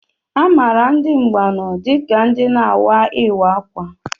Amaara ndị Mbaanọ dịka ndị na-awa Ịwa ákwà.